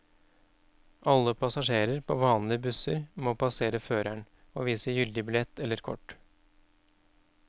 Alle passasjerer på vanlige busser må passere føreren og vise gyldig billett eller kort.